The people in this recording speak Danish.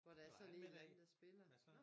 Hvor der sådan en en der spiller